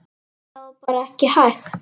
Það var bara ekki hægt.